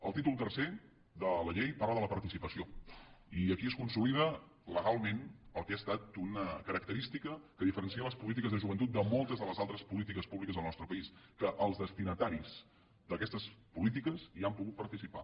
el títol tercer de la llei parla de la participació i aquí es consolida legalment el que ha estat una característica que diferencia les polítiques de joventut de moltes de les altres polítiques públiques al nostre país que els destinataris d’aquestes polítiques hi han pogut participar